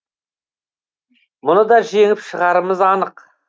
мұны да жеңіп шығарымыз анық